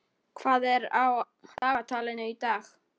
Sveinrós, hvað er á dagatalinu í dag?